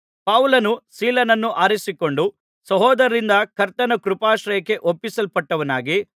ಪೌಲನು ಸೀಲನನ್ನು ಆರಿಸಿಕೊಂಡು ಸಹೋದರರಿಂದ ಕರ್ತನ ಕೃಪಾಶ್ರಯಕ್ಕೆ ಒಪ್ಪಿಸಲ್ಪಟ್ಟವನಾಗಿ ಅಲ್ಲಿಂದ